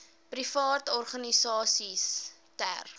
private organisasies ter